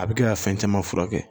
A bɛ kɛ ka fɛn caman furakɛ